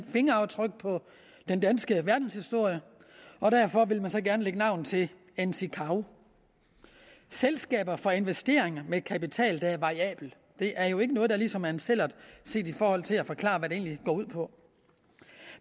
fingeraftryk på den danske verdenshistorie og derfor vil han så gerne lægge navn til en sikav selskaber for investeringer med kapital der er variabel det er jo ikke noget der ligesom er en sællert set i forhold til at forklare hvad det egentlig går ud på